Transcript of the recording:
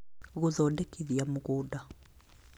Gũthondekithia Mũgũnda